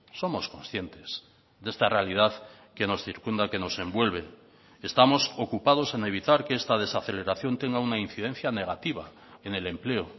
somos conscientes de esta realidad que nos circunda que nos envuelve estamos ocupados en evitar que esta desaceleración tenga una incidencia negativa en el empleo